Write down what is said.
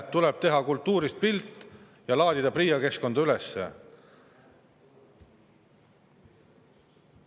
Tuleb teha kultuurist pilt ja laadida PRIA keskkonda üles.